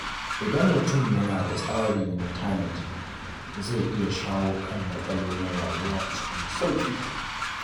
Idan mutum yana da tsari na tanadi, zai iya shawo kan matsalolin rayuwa cikin sauƙi.